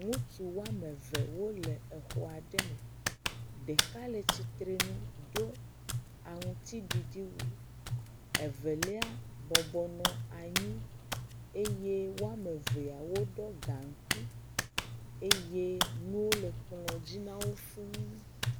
Ŋutsu woame eve wole exɔ aɖe me, ɖeka le tsitre nu do aŋutiɖiɖi wu, evelia bɔbɔnɔ anyi eye woame eveao ɖɔ gankui eye nuwo le kplɔ dzi nawo fuu.